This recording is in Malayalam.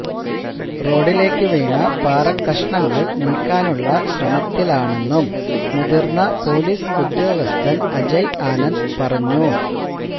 റോഡിലേക്ക് വീണ പാറകഷ്ണങ്ങള് നീക്കാനുള്ള ശ്രമത്തിലാണെന്നും മുതിര്ന്ന പോലീസ് ഉദ്യോഗസ്ഥന് അജയ് ആനന്ദ് പറഞ്ഞു